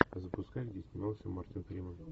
запускай где снимался мартин фримен